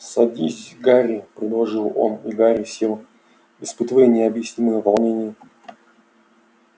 садись гарри предложил он и гарри сел испытывая необъяснимое волнение